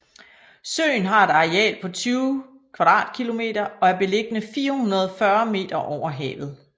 Søen har et areal på 20 km² og er beliggende 440 meter over havet